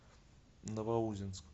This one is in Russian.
новоузенск